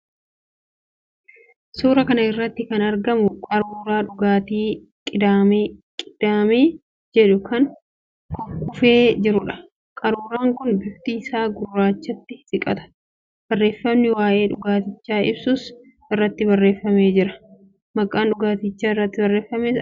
Suuraa kana irratti kan argamu qaruuraa dhugaatii 'qidaamee' jedhu kan kukkufee jiruudha. Qaruuraan kun bifti isaa gurraachatti siqata. Barreeffamni waa'ee dhugaatichaa ibsus irratti qabsiifamee jira. Maqaan dhugaatichaas irratti barreeffamee argama.